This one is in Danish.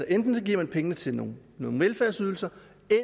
enten giver man pengene til nogle velfærdsydelser